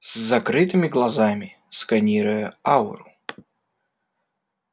с закрытыми глазами сканируя ауру